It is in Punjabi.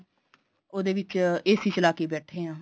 ਉਹਦੇ ਵਿੱਚ AC ਚਲਾਕੇ ਹੀ ਬੈਠੇ ਆ